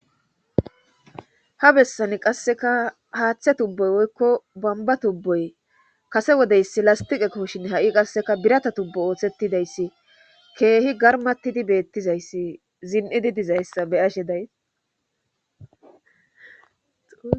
ha bessani qasseka haaththe tubboy woykko bamba tubboy kase wodeyssi lastiqeko shin ha'i qasseka birata tubbo ooththettidayssi keehi garmattidi beettizayssi zin'idi dizayssa be'ashe days